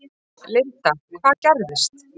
Linda: Hvað gerðist?